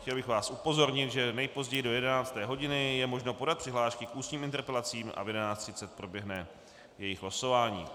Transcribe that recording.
Chtěl bych vás upozornit, že nejpozději do 11. hodiny je možno podat přihlášky k ústním interpelacím a v 11.30 proběhne jejich losování.